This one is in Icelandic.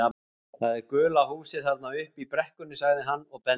Það er gula húsið þarna uppi í brekkunni sagði hann og benti.